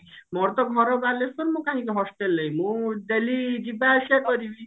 ମୋର ତ ଘର ବାଲେଶ୍ଵର ମୁଁ କାହିଁକି hostel ନେବି ମୁଁ daily ଯିବା ଆସିବା କରିବି